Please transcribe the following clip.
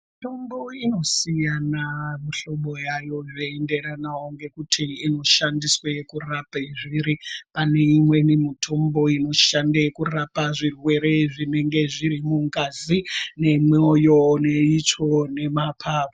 Mitombo inosiyana mihlobo yayo zveienderana ngekuti inoshandiswa kurapa zviri. Pane imweni mitombo inoshande kurapa zvirwere zvinenge zviri mungazi, nemoyo, neitsvo nemapapu.